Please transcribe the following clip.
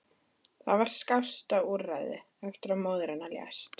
Það var skásta úrræðið eftir að móðir hennar lést.